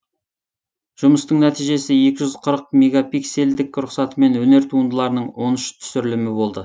жұмыстың нәтижесі екі жүз қырық мегапиксельдік рұқсатымен өнер туындыларының он үш түсірілімі болды